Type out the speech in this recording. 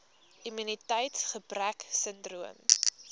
immuniteits gebrek sindroom